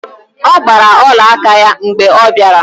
Ọ gbara olaaka ya mgbe ọ bịara